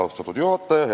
Austatud juhataja!